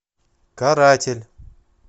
каратель